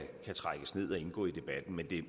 en